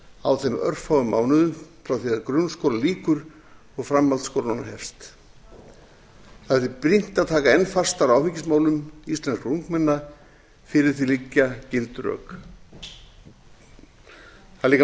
á þeim örfáum mánuðum frá því að grunnskóla lýkur og framhaldsskólanám hefst það er því brýnt að taka enn fastar á áfengismálum íslenskra ungmenna fyrir því liggja gild rök það er